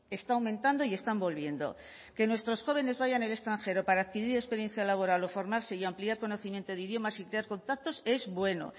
está aumentando y están volviendo que nuestros jóvenes vayan al extranjero para adquirir experiencia laboral o formarse y ampliar conocimiento de idiomas y crear contactos es bueno